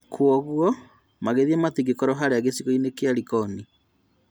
Kwoguo magĩthiĩ matingĩkorwo harĩa gĩcigo-inĩ kĩa Likoni